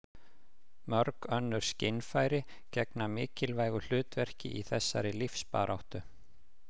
Mörg önnur skynfæri gegna mikilvægu hlutverki í þessari lífsbaráttu.